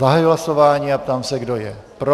Zahajuji hlasování a ptám se, kdo je pro.